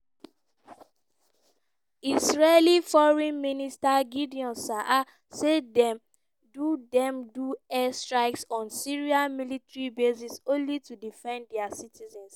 israeli foreign minister gideon saar say dem do dem do airstrikes on syria military bases only to defend dia citizens.